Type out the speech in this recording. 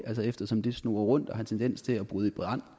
eftersom det snurrer rundt og har tendens til at bryde i brand